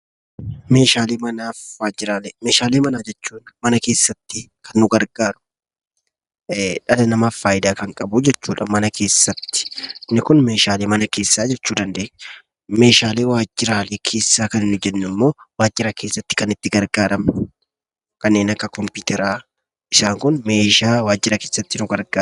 Meeshaalee manaa fi waajjiraalee. Meeshaalee manaa jechuun mana kessatti kan nu gargaaru, dhala namaaf faayidaa kan qabu jechuu dha. Mana keessatti inni kun 'Meeshaalee mana keessaa' jechuu dandeenya. Meeshaalee waajjiraalee keessaa kan nuyi jennu immoo waajjira keessatti kan itti gargaaramnu, kanneen akka kompiyuutaraa, isaan kun meeshaa waajjira keessatti nu gargaarani dha.